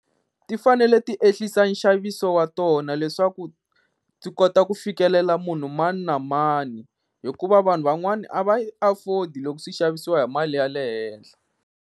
Ti fanele ti ehlisa nxaviso wa tona leswaku ti kota ku fikelela munhu mani na mani, hikuva vanhu van'wani a va yi afford loko swi xavisiwa hi mali ya le henhla.